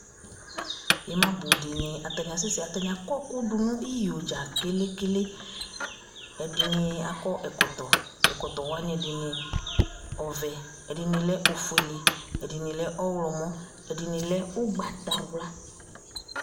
ima bó di ni atani asɛ sɛ atani akɔ ɛkò do no iyo dza kele kele ɛdini akɔ ɛkɔtɔ ɛkɔtɔ wani ɛdini ɔvɛ ɛdini lɛ ofuele ɛdini lɛ ɔwlɔmɔ ɛdini lɛ ugbata wla